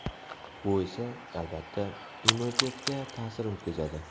Bu esa, albatta, immunitetga ta’sir o‘tkazadi.